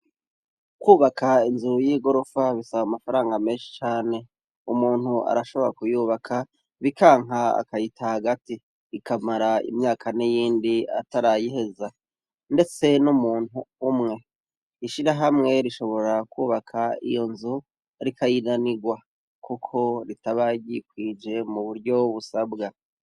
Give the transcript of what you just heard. Kwubaka inzu y'igorofa bisaba amafaranga menshi cane umuntu arashobora kuyubaka bikanka akayita hagati ikamara imyaka ni yindi atarayiheza, ndetse n'umuntu umwe ishira hamwe rishobora kwubaka iyo nzu arikayinanirwa, kuko ritaba ryikwije mu buryo busabwa.